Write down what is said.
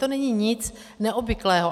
To není nic neobvyklého.